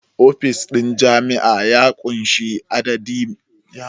Ofishin jami'a ya ƙunshi ofisoshin da suke karɓar adadi mai yawa na bayanan lafiya.